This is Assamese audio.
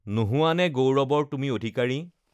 নোহোৱানে গৌৰৱৰ তুমি অধিকাৰী?